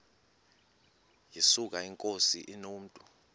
yesuka inkosi inomntu